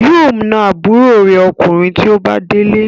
Yóò na àbúrò rẹ̀ Ọkùnrin tí ó bá délé.